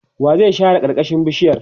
wa zai share karkashin bishiyar?